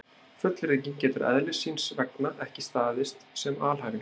Fullyrðingin getur eðlis síns vegna ekki staðist sem alhæfing.